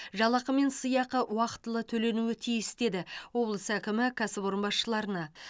жалақы мен сыйақы уақытылы төленуі тиіс деді облыс әкімі кәсіпорын басшыларына